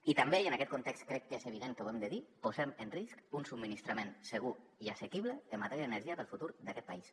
i també i en aquest context crec que és evident que ho hem de dir posem en risc un subministrament segur i assequible en matèria d’energia per al futur d’aquest país